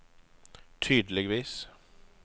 tydeligvis